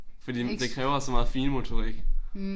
Fordi det kræver så meget finmotorik